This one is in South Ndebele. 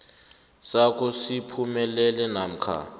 sakho siphumelele namkha